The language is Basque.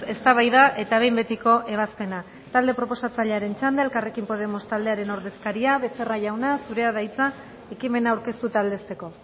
eztabaida eta behin betiko ebazpena talde proposatzailearen txanda elkarrekin podemos taldearen ordezkaria becerra jauna zurea da hitza ekimena aurkeztu eta aldezteko